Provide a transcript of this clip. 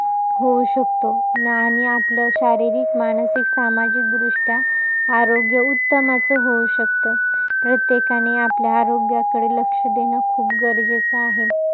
होऊ शकतो. आणि आपलं, शारीरिक, सामाजिक, मानसिकदृष्ट्या आरोग्य उत्तम असं होऊ शकतं. प्रत्येकाने आपल्या आरोग्याकडे लक्ष देणं खुप गरजेचं आहे.